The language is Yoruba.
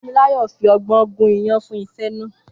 Fúnmiláyọ̀ fi ọgbọ́n gún iyán fún àsè náà.